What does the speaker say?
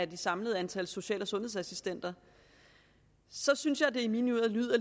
det samlede antal social og sundhedsassistenter i mine ører lyder